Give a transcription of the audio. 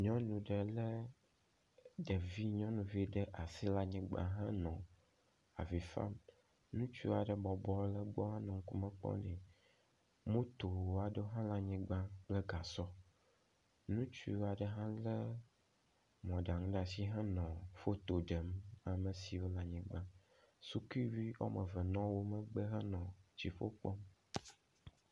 nyɔnu ɖe le ɖevi nyɔnuvi ɖe asi le anyigbã henɔ avifam ŋutsu aɖe bɔbɔ le gbɔ henɔ ŋkume kpɔm nɛ moto aɖe hã le anyigbã kple gasɔ ŋutsu aɖe hã le mɔɖaŋu ɖasi henɔ fotoɖem amesiwo la nyigbã sukuviwo wɔmeve nɔ wó megbe henɔ dziƒo kpɔm